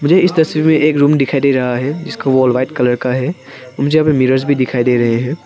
मुझे इस तस्वीर में एक रूम दिखाई दे रहा है जिसका वॉल व्हाइट कलर का है मुझे यहां पर मिरर भी दिखाई दे रहे हैं।